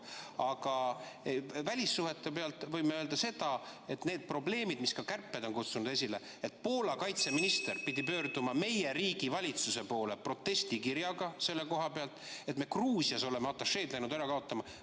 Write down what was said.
Aga välissuhete puhul võime öelda seda, et need probleemid, mille samuti kärped on esile kutsunud, et Poola kaitseminister ...... pidi pöörduma meie riigi valitsuse poole protestikirjaga selle kohta, et me Gruusias oleme atašeed läinud ära kaotama.